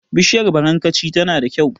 Bishiyar barankaci tana da kyau.